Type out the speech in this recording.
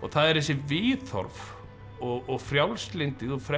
og það eru þessi viðhorf og frjálslyndið og